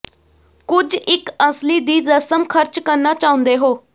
ਕੁਝ ਇੱਕ ਅਸਲੀ ਦੀ ਰਸਮ ਖਰਚ ਕਰਨਾ ਚਾਹੁੰਦੇ ਹੋ